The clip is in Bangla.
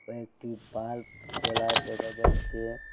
একটি বাল্ব জ্বলা দেখা যাচ্ছে।